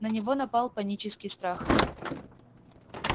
на него напал панический страх